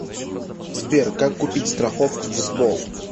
сбер как купить страховку в сбол